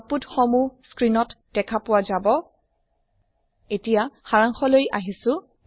output সমুহ screen ত দেখাপোৱা যাব এতিয়া সাৰাংশলৈ আহিছো